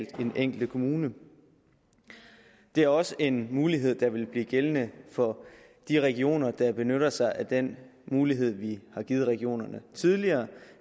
den enkelte kommune det er også en mulighed der vil blive gældende for de regioner der benytter sig af den mulighed vi har givet regionerne tidligere